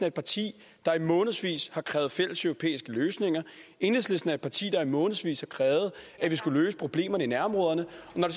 et parti der i månedsvis har krævet fælleseuropæiske løsninger enhedslisten er et parti der i månedsvis har krævet at vi skulle løse problemerne i nærområderne